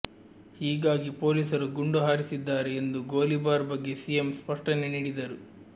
ಹೀಗಾಗಿ ಪೊಲೀಸರು ಗುಂಡು ಹಾರಿಸಿದ್ದಾರೆ ಎಂದು ಗೋಲಿಬಾರ್ ಬಗ್ಗೆ ಸಿಎಂ ಸ್ಪಷ್ಟನೆ ನೀಡಿದರು